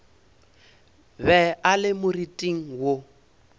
be a le moriting wo